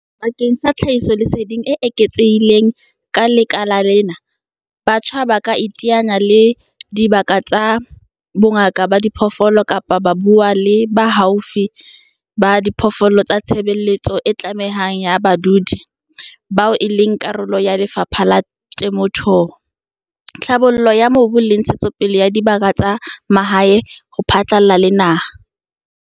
Bakeng sa tlhahisoleseding e eketsehileng ka lekala lena, batjha ba ka iteanya le dibaka tsa bongaka ba diphoofolo kapa ba ka bua le baalafi ba diphoofolo ba tshebeletso e tlamang ya badudi, CCS, bao e leng karolo ya Lefapha la Temothuo, Tlhabollo ya Mobu le Ntshetsopele ya Dibaka tsa Mahae, DALRRD, ho phatlalla le naha.